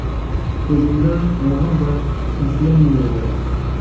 Ko‘zimda og‘ir bir taslim nuri bor.